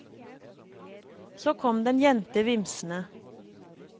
Så kom det en jente vimsende.